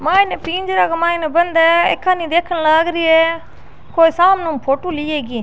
माइन पिंजरे के माइन बंद है कोई सामने ऊ फोटो ली है इकी।